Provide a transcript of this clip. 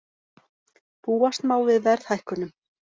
Búast má við verðhækkunum